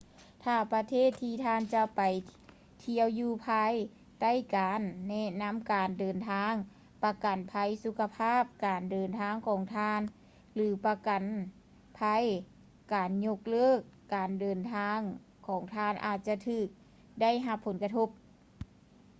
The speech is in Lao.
ຖ້າປະເທດທີ່ທ່ານຈະໄປທ່ຽວຢູ່ພາຍໃຕ້ການແນະນຳການເດີນທາງ ປະກັນໄພສຸຂະພາບການເດີນທາງຂອງທ່ານ ຫຼື ປະກັນໄພການຍົກເລີກການເດີນທາງຂອງທ່ານອາດຈະຖືກໄດ້ຮັບຜົນກະທົບ